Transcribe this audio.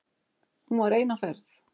Hún var ein á ferð.